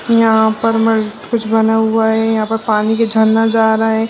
यहाँ पर मल कुछ बना है यहाँ पर पानी के झरना जा है।